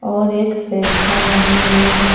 और एक सैंटा बने हुए हैं।